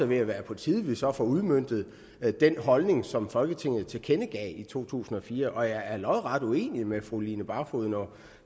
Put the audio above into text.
ved at være på tide at vi så får udmøntet den holdning som folketinget tilkendegav i to tusind og fire og jeg er lodret uenig med fru line barfod når